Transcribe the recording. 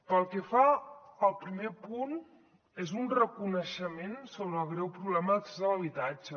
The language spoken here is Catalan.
pel que fa al primer punt és un reconeixement sobre el greu problema d’accés a l’habitatge